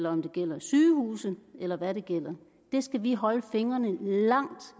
om det gælder sygehuse eller hvad det gælder det skal vi holde fingrene langt